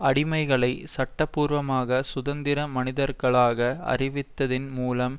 அடிமைகளை சட்டபூர்வமாக சுதந்திர மனிதர்களாக அறிவித்ததின் மூலம்